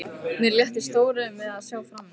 Mér létti stórum við að sjá framan í hana.